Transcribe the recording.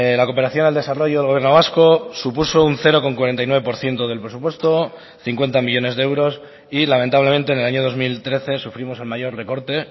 la cooperación al desarrollo del gobierno vasco supuso un cero coma cuarenta y nueve por ciento del presupuesto cincuenta millónes de euros y lamentablemente en el año dos mil trece sufrimos el mayor recorte